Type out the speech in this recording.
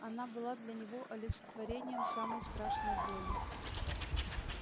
она была для него олицетворением самой страшной боли